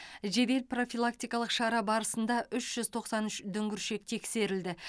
жедел профилактикалық шара барысында үш жүз тоқсан үш дүңгіршек тексерілді